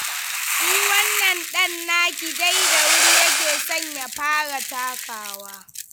Shi wannan ɗan naki dai da wuri yake son ya fara takawa.